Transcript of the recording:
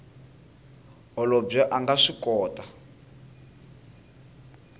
holobye a nga swi kota